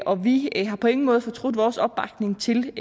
og vi har på ingen måde fortrudt vores opbakning til